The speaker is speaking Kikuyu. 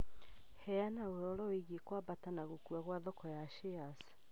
Heana ũhoro wĩgiĩ kwambata na gũkua kwa thoko ya shares